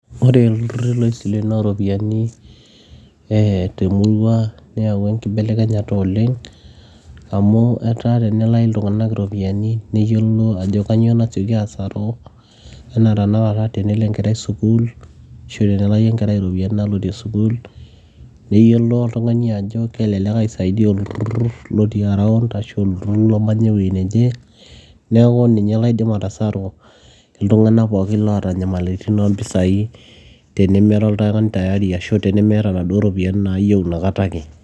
ore ilturruri loisilenoo ropiyiani eh temurua neyawua enkibelekenyata oleng amu etaa tenelai iltung'anak iropiyiani neyiolo ajo kanyio nasioki asaru enaa tenakata tenelo enkerai sukuul ashu tenelai enkerai iropiyiani naalotie sukuul neyiolo oltung'ani ajo kelelek aisaidia olturrur lotii around ashu olturrur lomanya ewueji neje neeku ninye laidim atasaru iltung'anak pookin loota nyamaliritin oompisai tenimira oltung'ani tayari ashu tenimiata naduo ropiyiani naayieu inakata ake.